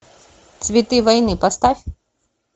цветы войны поставь